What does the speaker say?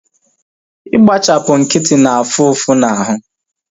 Igbachipu nkịtị na-afu ụfụ na ahụ